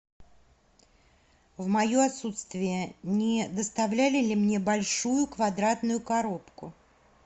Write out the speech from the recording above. в мое отсутствие не доставляли ли мне большую квадратную коробку